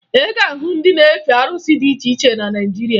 Ị ga-ahụ ndị ka na-efe arụsị dị iche iche na Naịjirịa